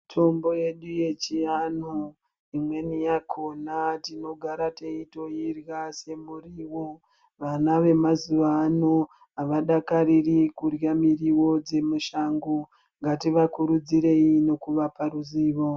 Mitombo yechiantu imweni yakona tinogara teitoirya semuriwo vana vemazuva ano avadakariri kurya miriwo dzemishango ngativakurudzire nekuvapa ruzivo.